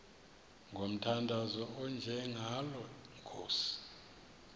ngomthandazo onjengalo nkosi